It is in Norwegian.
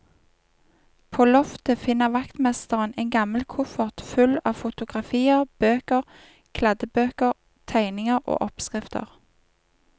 På loftet finner vaktmesteren en gammel koffert full av fotografier, bøker, kladdebøker, tegninger og oppskrifter.